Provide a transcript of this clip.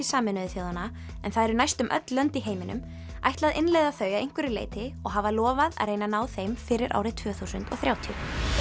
Sameinuðu þjóðanna en það eru næstum öll lönd í heiminum ætla að innleiða þau að einhverju leyti og hafa lofað að reyna að ná þeim fyrir árið tvö þúsund og þrjátíu